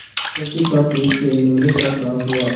प्रकृति का पुरुष से लड़ने का साहस हुआ